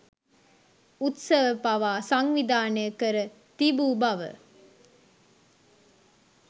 උත්සව පවා සංවිධානය කර තිබූ බව